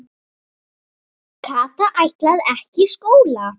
Kata ætlaði ekki í skóla.